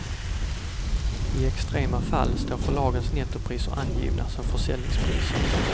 I extrema fall står förlagens nettopriser angivna som försäljningspriser.